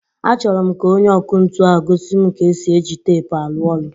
Achọrọ m ka onye ọkụ ntu ahu gosi m ka esi e ji teepu arụ ọrụ.